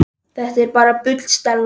Þetta er bara bull, Stella.